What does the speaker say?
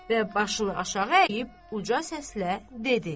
Və başını aşağı əyib uca səslə dedi: